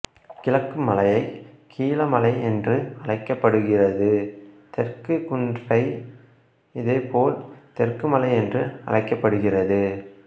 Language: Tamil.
கிழக்கு மலையை கீழமலை என்று அழைக்கப்படுகிறது தெற்கு குன்றை இதேபோல் தெற்குமலை என்று அழைக்கப்படுகிறது